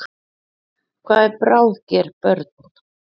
Hvað eru bráðger börn?